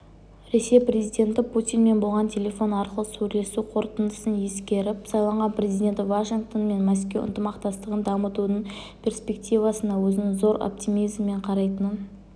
ресей президенті путинмен болған телефон арқылы сөйлесу қорытындысын ескеріп сайланған президенті вашингтон мен мәскеу ынтымақтастығын дамытудың перспективасына өзінің зор оптимизммен қарайтынын